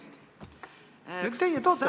No teie toote mulle seda näiteks!